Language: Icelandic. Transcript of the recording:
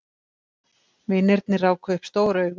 Vinirnir ráku upp stór augu.